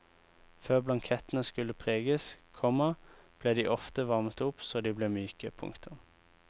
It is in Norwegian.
Før blankettene skulle preges, komma ble de ofte varmet opp så de ble myke. punktum